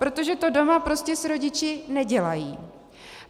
Protože to doma prostě s rodiči nedělají.